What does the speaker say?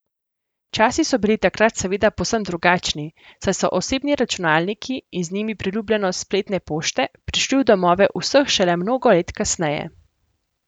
Časi so bili takrat seveda povsem drugačni, saj so osebni računalniki, in z njimi priljubljenost spletne pošte, prišli v domove vseh šele mnogo let kasneje.